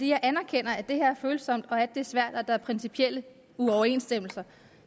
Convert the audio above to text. jeg anerkender at det her er følsomt og at det er svært og at der er principielle uoverensstemmelser